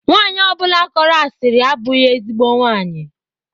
Nwanyi ọbụla kọrọ asiri abụghị ezigbo nwaanyị.